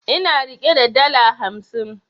Ina rike da dala hamsin